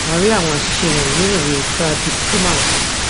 a rí àwọn àṣìṣe wọnyí nínu ìwe pradeep kumar